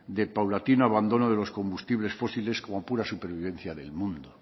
del paulatino abandono de los combustibles fósiles como pura supervivencia del mundo